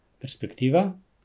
Perspektiva?